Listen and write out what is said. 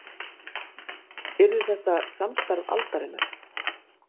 Yrði þetta samstarf aldarinnar